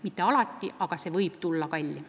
Mitte alati ei ole see kallim, aga see võib olla kallim.